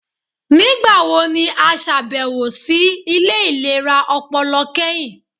Nigbawo ni a ṣabẹwo si ile ilera ọpọlọ kẹhin?